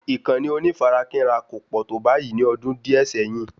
Ìkànnì onífarakínra kò pọ̀ tó báyìí ní ọdún díẹ̀ sẹ́yìn